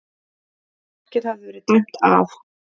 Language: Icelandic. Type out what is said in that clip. Markið hafði verið dæmt af